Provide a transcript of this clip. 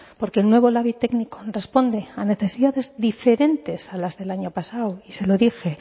porque el nuevo labi técnico responde a necesidades diferentes a las del año pasado y se lo dije